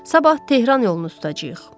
Sabah Tehran yolunu tutacağıq.